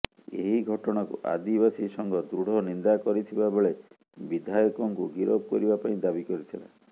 ଏହି ଘଟଣାକୁ ଆଦିବାସୀ ସଂଘ ଦୃଢ ନିନ୍ଦା କରିଥିବା ବେଳେ ବିଧାୟକଙ୍କୁ ଗିରଫ କରିବା ପାଇଁ ଦାବି କରିଥିଲା